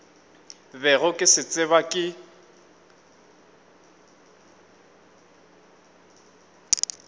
bego ke se tseba ke